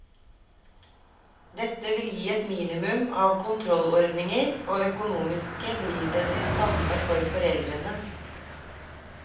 Dette vil gi et minimum av kontrollordninger, og økonomisk blir det det samme for foreldrene.